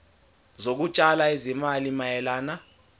zokutshala izimali mayelana